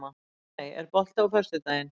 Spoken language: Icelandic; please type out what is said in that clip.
Máney, er bolti á föstudaginn?